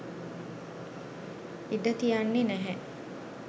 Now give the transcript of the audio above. ඉඩ තියන්නෙ නැහැ